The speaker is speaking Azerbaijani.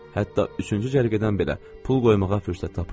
Hətta üçüncü cərgədən belə pul qoymağa fürsət tapırdılar.